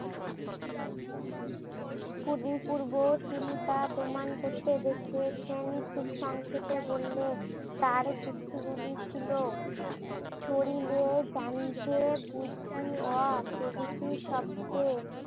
পূর্বে সুনীতা প্রমাণ করতে ব্যর্থ হয়েছেন। খুব সংক্ষেপে বললে তার যুক্তিগুলি ছিল প্রভৃতি শব্দ